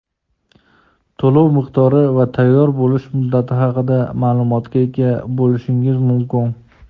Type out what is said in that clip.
to‘lov miqdori va tayyor bo‘lish muddati haqida maʼlumotga ega bo‘lishingiz mumkin.